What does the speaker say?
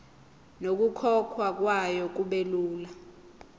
nokukhokhwa kwayo kubelula